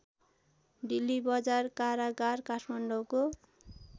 डिल्लीबजार कारागार काठमाडौँको